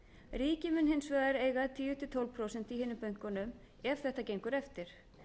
ríkið mun hins vegar eiga tíu til tólf prósent í hinum bönkunum ef þetta gengur eftir